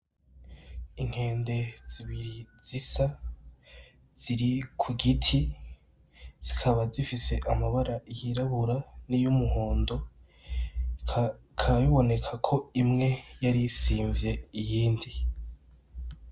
Inkende zibiri zisa ziri ku giti zikaba zifise amabara yirabura n'iyumuhondo bikaba biboneka ko imwe yarisinvye iyindi.